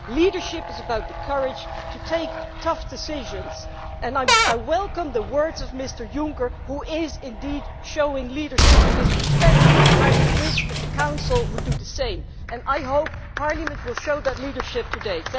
Leadership is about the courage to take tough decisions, and I welcome the words of Mr Juncker, who is indeed showing leadership in this respect and I wish that the Council would do the same. And I hope that Parliament will show that leadership today.